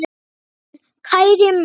Far vel, kæri mágur.